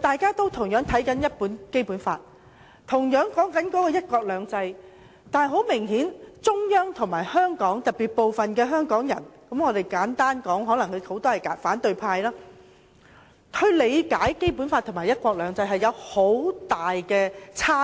大家都是看相同的《基本法》，討論相同的"一國兩制"，但很明顯，中央和部分香港人——簡單來說，很多可能是反對派——對《基本法》和"一國兩制"的理解有很大差異。